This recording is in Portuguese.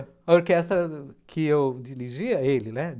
A orquestra que eu dirigia, ele, né?